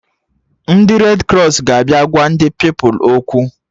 Ndị red krọs ga-abịa gwa ndị Pupilụ okwu